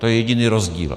To je jediný rozdíl.